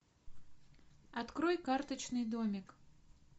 открой карточный домик